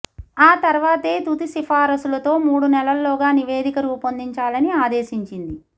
ఆ తర్వాతే తుది సిఫారసులతో మూడు నెలల్లోగా నివేదిక రూపొందించాలని ఆదేశించింది